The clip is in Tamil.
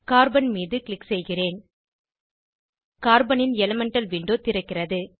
கார்பன் மீது க்ளிக் செய்கிறேன் கார்பனின் எலிமெண்டல் விண்டோ திறக்கிறது